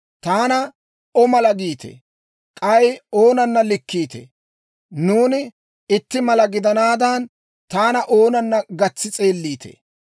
«Taana O mala giite? K'ay oonana likkiitee? Nuuni itti mala gidanaadan, taana oonana gatsi s'eelliitee?